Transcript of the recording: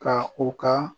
Ka u ka